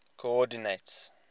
coordinates